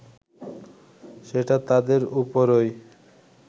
সেটা তাদের উপরই